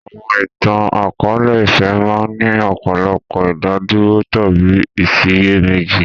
Àwọn ìtàn akọ̀ọ̀lẹ-ìfẹ́ máa ń ní ọ̀pọ̀lọpọ̀ ìdádúró tàbí ìsiyèméjì